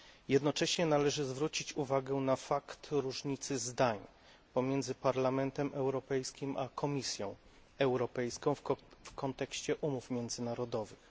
Jednocześnie należy zwrócić uwagę na fakt różnicy zdań pomiędzy Parlamentem Europejskim a Komisją Europejską w kontekście umów międzynarodowych.